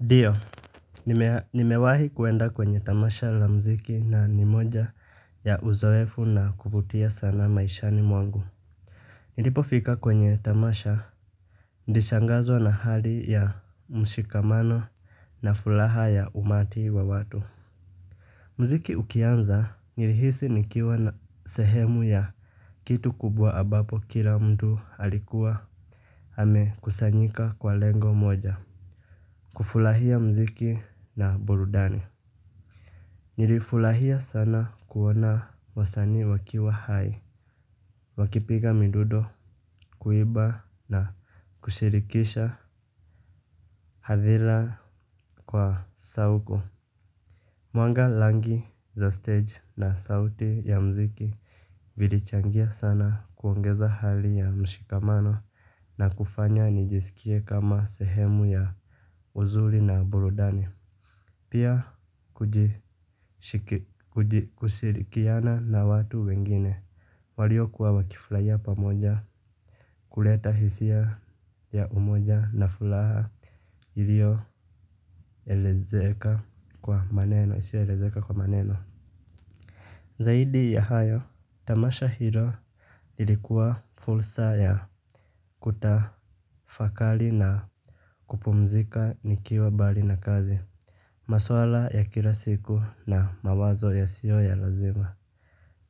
Ndio. Nimewahi kuenda kwenye tamasha la mziki na ni moja ya uzoefu na kuvutia sana maishani mwangu. Nilipofika kwenye tamasha nilishangazwa na hali ya mshikamano na furaha ya umati wa watu. Mziki ukianza nilihisi nikiwa na sehemu ya kitu kubwa ambapo kila mtu alikuwa amekusanyika kwa lengo moja. Kufurahia mziki na burudani. Nilifurahia sana kuona wasanii wakiwa hai. Wakipiga midundo kuimba na kushirikisha hadhira kwa sauku. Mwanga rangi za stage na sauti ya mziki vilichangia sana kuongeza hali ya mshikamano na kufanya nijisikie kama sehemu ya uzuri na burudani. Pia kuji kushirikiana na watu wengine waliokuwa wakifurahia pamoja kuleta hisia ya umoja na furaha iliyo elezeka kwa maneno. Zaidi ya hayo, Tamasha Hilo ilikuwa fursa ya kutafakari na kupumzika nikiwa mbali na kazi. Maswala ya kila siku na mawazo yasiyo ya lazima.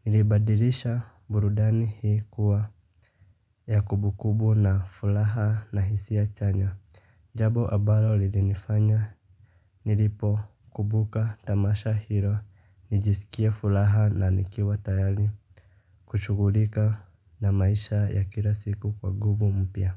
Nilibadirisha burudani hii kuwa ya kumbukumbu na furaha na hisia chanya. Jambo ambalo lilinifanya nilipo kumbuka tamasha hilo nijiskie furaha na nikiwa tayari kushughulika na maisha ya kila siku kwa nguvu mpya.